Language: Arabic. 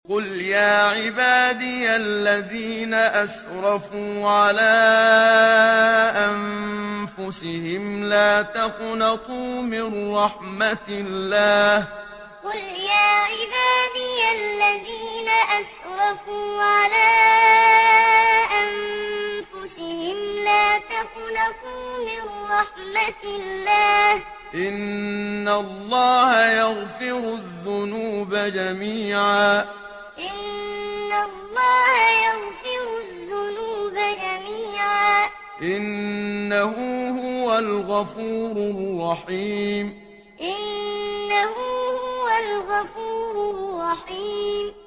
۞ قُلْ يَا عِبَادِيَ الَّذِينَ أَسْرَفُوا عَلَىٰ أَنفُسِهِمْ لَا تَقْنَطُوا مِن رَّحْمَةِ اللَّهِ ۚ إِنَّ اللَّهَ يَغْفِرُ الذُّنُوبَ جَمِيعًا ۚ إِنَّهُ هُوَ الْغَفُورُ الرَّحِيمُ ۞ قُلْ يَا عِبَادِيَ الَّذِينَ أَسْرَفُوا عَلَىٰ أَنفُسِهِمْ لَا تَقْنَطُوا مِن رَّحْمَةِ اللَّهِ ۚ إِنَّ اللَّهَ يَغْفِرُ الذُّنُوبَ جَمِيعًا ۚ إِنَّهُ هُوَ الْغَفُورُ الرَّحِيمُ